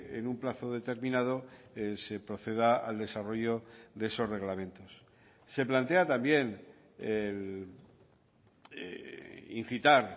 en un plazo determinado se proceda al desarrollo de esos reglamentos se plantea también incitar